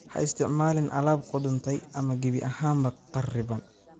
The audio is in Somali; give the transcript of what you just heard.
Ha isticmaalin alaab qudhuntay ama gebi ahaanba kharriban.